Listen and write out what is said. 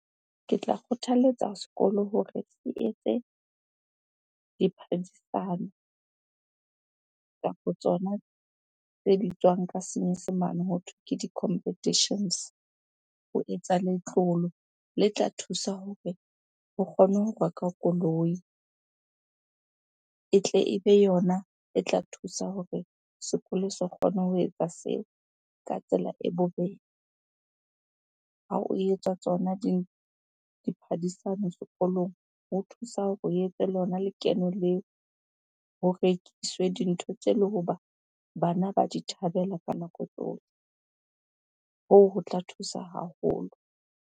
Ke tla kgothaletsa sekolo hore se etse kapa tsona tse bitswang ka senyesemane hothweng ke di competitions. Ho etsa letlolo le tla thusa hore ho kgone ho rekwa koloi. E tle ebe yona e tla thusa hore sekolo se kgone ho etsa seo ka tsela e bobebe. Ha o etswa tsona sekolong ho thusa hore o etse lona lekeno leo, ho rekiswe dintho tse le hoba bana ba di thabela ka nako tsohle. Hoo, ho tla thusa haholo.